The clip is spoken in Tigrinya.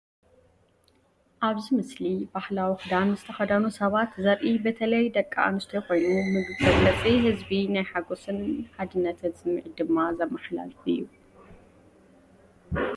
ኣብዚ ምስሊ ባህላዊ ክዳን ዝተኸድኑ ሰባት ዘርኢ በተለይ ደቂ ኣንስትዮ ኮይኑ፡ መግለጺ ህዝቢ ናይ ሓጎስን ሓድነትን ስምዒት ድማ ዘመሓላልፍ እዩ።